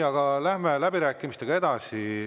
Aga läheme läbirääkimistega edasi.